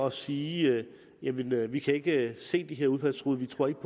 at sige jamen vi kan ikke se de her udfaldstruede vi tror ikke